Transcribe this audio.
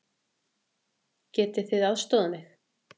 Getið þið aðstoðað mig?